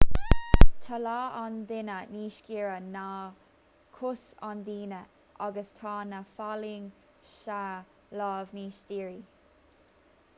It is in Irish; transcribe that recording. tá lámh an duine níos giorra ná cos an duine agus tá na falaing sa lámh níos dírí